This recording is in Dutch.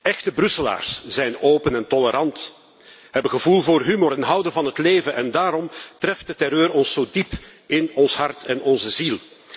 Echte Brusselaars zijn open en tolerant, hebben gevoel voor humor en houden van het leven en daarom treft de terreur ons zo diep in ons hart en onze ziel.